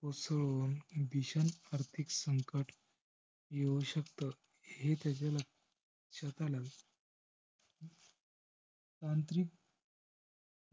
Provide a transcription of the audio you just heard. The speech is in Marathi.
कोसळून भीषण आर्थिक संकट येऊ शकतं, हे त्याच्या लक्ष्यात आलं. तांत्रिक